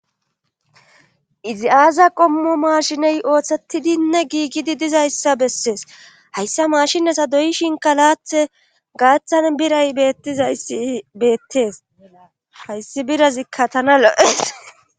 Izi aaza qommo maashiney ooththetidinne giigidi dizayssa bessees hayssa maashie sadoyishin kalaathe gaaththan biray bettizayssi beettees hayssi birazikka tana lo'ees.